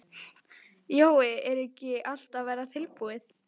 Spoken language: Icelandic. Jói, er ekki allt að verða tilbúið?